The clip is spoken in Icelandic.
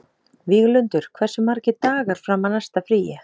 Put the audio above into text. Víglundur, hversu margir dagar fram að næsta fríi?